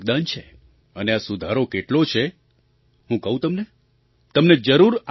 અને આ સુધાર કેટલો છે હું કહું તમને તમને જરૂર આનંદ થશે